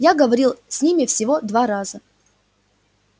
я говорил с ними всего два раза